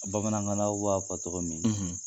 Bamanankan b'a fɔ cɔgɔ min,